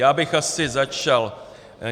Já bych asi začal...